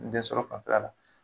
densɔrɔ fanfɛla l